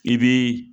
I bi